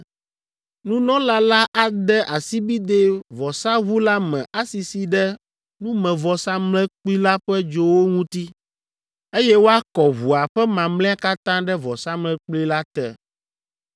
Nunɔla la ade asibidɛ vɔsaʋu la me asisi ɖe numevɔsamlekpui la ƒe dzowo ŋuti, eye woakɔ ʋua ƒe mamlɛa katã ɖe vɔsamlekpui la te.